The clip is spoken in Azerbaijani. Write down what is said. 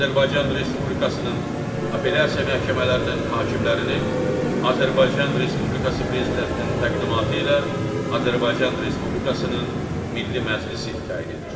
Azərbaycan Respublikasının Apellyasiya məhkəmələrinin hakimlərini Azərbaycan Respublikası Prezidentinin təqdimatı ilə Azərbaycan Respublikasının Milli Məclisi təyin edir.